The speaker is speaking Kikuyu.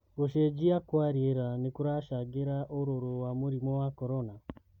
Gũcenjia kwa rĩera nĩkũracangĩra ũrũrũ wa mũrimũ wa Korona?